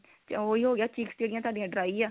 ਤੇ ਉਹੀ ਹੋ ਗਿਆ chicks ਜਿਹੜੀਆਂ ਤੁਹਾਡੀਆਂ dry ਆ